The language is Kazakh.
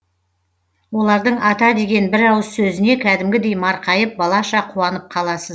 олардың ата деген бір ауыз сөзіне кәдімгідей марқайып балаша қуанып қаласыз